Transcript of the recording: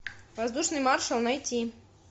воздушный маршал найти